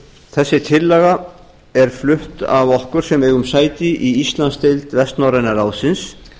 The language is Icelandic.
þessi tillaga er flutt af okkur sem eigum sæti í íslandsdeild vestnorræna ráðsins